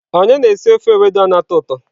Onye na-esi ofe ewedu a na-atọ ụtọ?